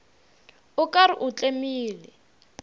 o ka re o tlemile